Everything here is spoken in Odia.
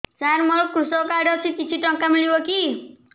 ସାର ମୋର୍ କୃଷକ କାର୍ଡ ଅଛି କିଛି ଟଙ୍କା ମିଳିବ କି